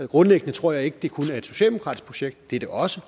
grundlæggende tror ikke det kun er et socialdemokratisk projekt det er det også